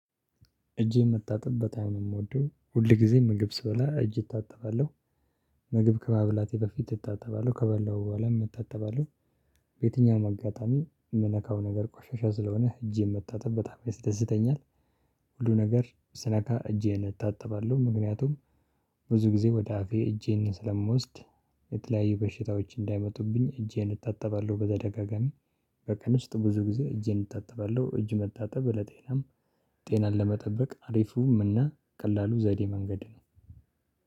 እጄን መታጠብ በጣም ነው የምወደው ሁል ጊዜ ምግብ ስበላ እጅ እታጠባለሁ ምግብ ከመብላቴ በፊት እታጠባለሁ ከበላሁ በኋላ እንታጠባለሁ። በየትኛውም አጋጣሚ የምነካው ነገር ቆሻሻ ስለሆነ እጄን መታጠብ በጣም ያስደስተኛል። ሁሉ ነገር ስነካ እጄን እታጠባለሁ ምክንያቱም ብዙ ጊዜ ወደ አፌ እጄን ስለምወስድ የተለያዩ በሽታዎች እንዳይመጡብኝ እጄን እታጠባለሁ በደጋጋሚ በቀን ውስጥ ብዙ ጊዜ እጄን እታጠባለሁ እጅ መታጠብ ለጤናም ጤናን ለመጠበቅ አሪፉም እና ቀላሉ ዘዴ መንገድ ነው።